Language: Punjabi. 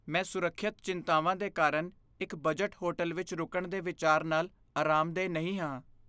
ਮੈਂ ਸੁਰੱਖਿਅਤ ਚਿੰਤਾਵਾਂ ਦੇ ਕਾਰਨ ਇੱਕ ਬਜਟ ਹੋਟਲ ਵਿੱਚ ਰੁਕਣ ਦੇ ਵਿਚਾਰ ਨਾਲ ਅਰਾਮਦੇਹ ਨਹੀਂ ਹਾਂ।